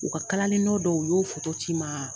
U kalali nɔ dɔw u y'o ci ma